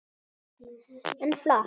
En flott!